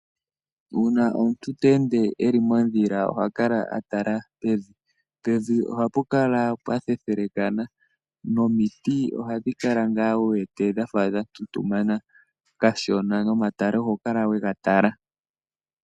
Uuna omuntu teende eli modhila oha kala a tala pevi, pevi ohapu kala pwa thethengana nomiti ohadhi kala nga wu wete dhafa dha tutumana kashona nomatale oho kala wega tala.